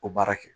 O baara kɛ